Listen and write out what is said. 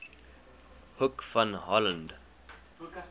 hoek van holland